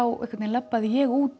labbaði ég út